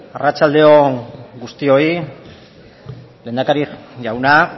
arratsaldeon guztioi lehendakari jauna